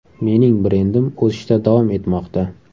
Mening brendim o‘sishda davom etmoqda.